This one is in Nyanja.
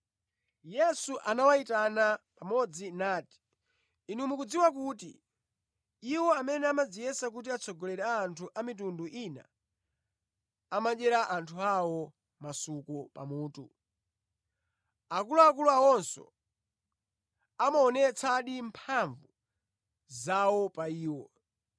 Yesu anawayitana pamodzi nati, “Inu mukudziwa kuti iwo amene amadziyesa ngati atsogoleri a anthu amitundu ina amadyera anthu awo masuku pamutu. Akuluakulu awonso amaonetsadi mphamvu zawo pa iwo.